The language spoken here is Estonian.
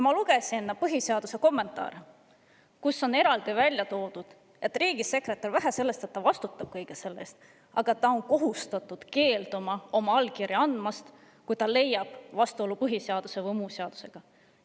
Ma lugesin põhiseaduse kommentaare, kus on eraldi esile toodud, et riigisekretär, vähe sellest, et ta vastutab kõige selle eest, on ka kohustatud keelduma oma allkirja andmisest, kui ta leiab vastuolu põhiseaduse või muu seadusega.